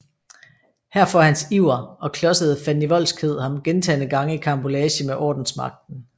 Her får hans iver og klodsede fandenivoldskhed ham gentagne gange i karambolage med ordensmagten